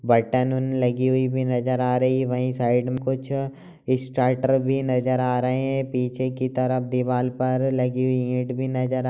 button लगी नजर आ रही है वहीं साईड में कुछ स्टार्टर भी नजर आ रहें हैं पीछे की तरफ दीवाल पर लगी हुई इट भी नजर आ--